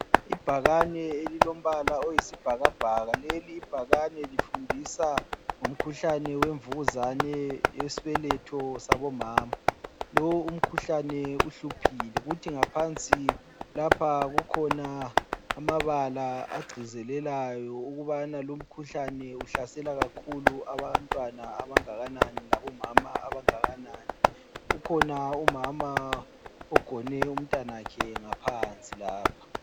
Ibhakane elilombala oyisibhakabhaka leli ibhakane lifundisa ngomkhuhlane wenvukuzane yesibeletho sabomama, lowu umkhuhlane uhluphile kuthi ngaphansi lapha kukhona amabala agcizelelayo ukubana lumkhulane uhlasela kakhulu abantwana abangakanani labo mama abangakanani. Ukhona umama ogone umntanakhe ngaphansi lapha.